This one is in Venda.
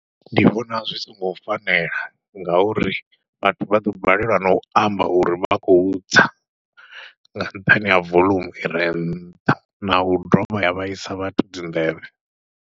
Ndi vhona zwi songo fanela ngauri vhathu vha ḓo balelwa nau amba uri vha khou tsa, nga nṱhani ha voḽumu ire nṱha nau doba ya vhaisa vhathu dzi nḓevhe.